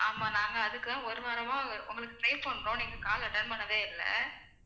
ஆமா நாங்க அதுக்கு ஒரு வாரமா உங்களுக்கு try பண்றோம் நீங்க call attend பண்ணவே இல்லை